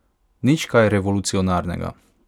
Nič kaj revolucionarnega.